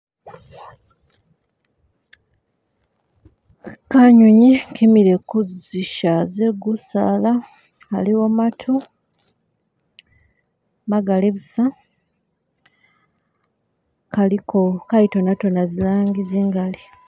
Kanyunyi kimile kuzisha ze gusaala haliwo maatu magali buusa, kaliko kayitonatona zilangi zingali.